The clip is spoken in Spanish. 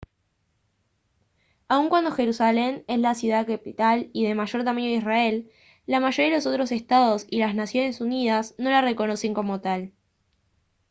aun cuando jerusalén es la ciudad capital y de mayor tamaño de israel la mayoría de los otros estados y las naciones unidas no la reconocen como tal